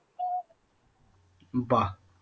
বা